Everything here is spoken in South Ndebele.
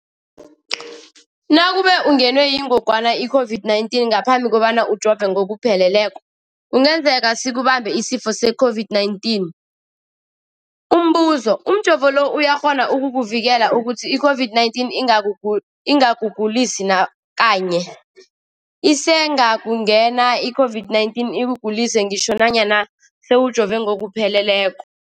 Nakube ungenwe yingogwana i-COVID-19 ngaphambi kobana ujove ngokupheleleko, kungenzeka sikubambe isifo se-COVID-19. Umbuzo, umjovo lo uyakghona ukukuvikela ukuthi i-COVID-19 ingakugulisi nakanye? Isengakungena i-COVID-19 ikugulise ngitjho nanyana sewujove ngokupheleleko.